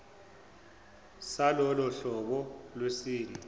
salolo hlobo lwesilwane